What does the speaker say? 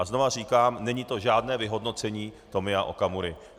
A znovu říkám - není to žádné vyhodnocení Tomia Okamury.